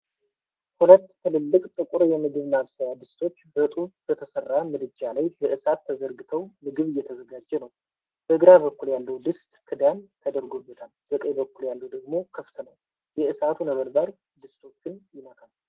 ሁለት ትልልቅ ጥቁር የምግብ ማብሰያ ድስቶች በጡብ በተሠራ ምድጃ ላይ በእሳት ተዘርግተው ምግብ እየተዘጋጀ ነው። በግራ በኩል ያለው ድስት ክዳን ተደርጎበታል፤ በቀኝ በኩል ያለው ደግሞ ክፍት ነው። የእሳቱ ነበልባል ድስቶቹን ይነካል።